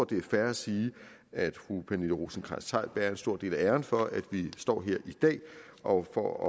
det er fair at sige at fru pernille rosenkrantz theil bærer en stor del af æren for at vi står her i dag og for at